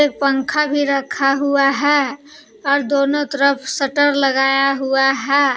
पंखा भी रखा हुआ है और दोनों तरफ शटर लगाया हुआ है।